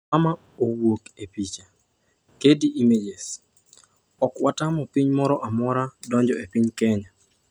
"Mama owuok e picha, Getty Images ""Ok watamo piny moro amora donjo e piny Kenya."